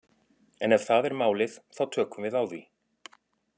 En ef það er málið þá tökum við á því.